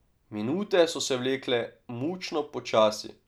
Minute so se vlekle mučno počasi.